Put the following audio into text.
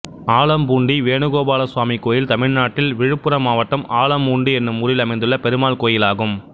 ஆலம்பூண்டி வேணுகோபாலசுவாமி கோயில் தமிழ்நாட்டில் விழுப்புரம் மாவட்டம் ஆலம்பூண்டி என்னும் ஊரில் அமைந்துள்ள பெருமாள் கோயிலாகும்